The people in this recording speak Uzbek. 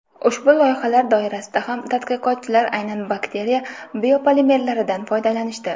Ushbu loyihalar doirasida ham tadqiqotchilar aynan bakteriya biopolimerlaridan foydalanishdi.